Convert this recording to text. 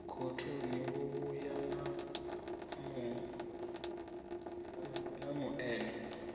khothoni wo vhuya na muṅene